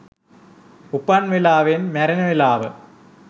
උපන් වෙලාවෙන් මැරෙන වෙලාව